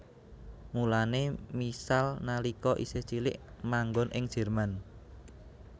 Mulané Michal nalika isih cilik manggon ing Jerman